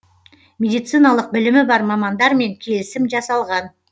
медециналық білімі бар мамандармен келісім жасалған